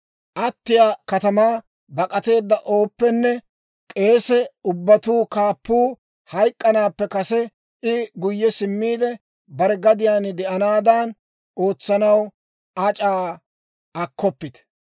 Attiyaa katamaa bak'ateedda ooppenne k'eese ubbatuu kaappuu hayk'k'anaappe kase, I guyye simmiide, bare gadiyaan de'anaadan ootsanaw ac'aa akkoppite.